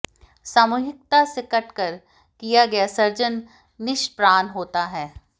सामूहिकता से कट कर किया गया सृजन निष्प्राण होता है